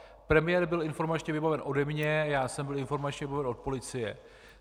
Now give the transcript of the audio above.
Premiér byl informačně vybaven ode mne, já jsem byl informačně vybaven od policie.